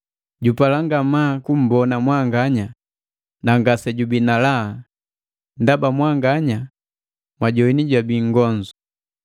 Jupala ngamaa kumbona mwanganya, na ngasejubii na laha, ndaba mwanganya mwajowini jabii nngonzu.